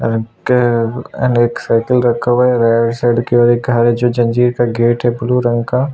actor और एक cycle रखा हुआ है के जंजीर का गेट है ब्लू रंग का--